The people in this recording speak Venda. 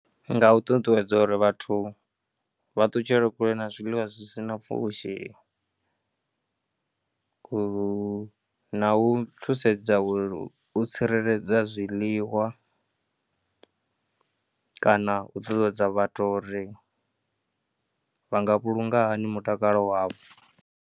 Nga u ṱuṱuwedza uri vhathu vha ṱutshele kule na zwiḽiwa zwi si na pfhushi, ku, na u thusedza uri u u tsireledza zwiḽiwa kana u ṱuṱuwedza vhathu uri vha nga vhulunga hani mutakalo wavho.